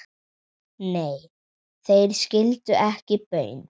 Nei, þeir skildu ekki baun.